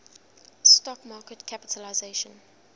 stock market capitalisation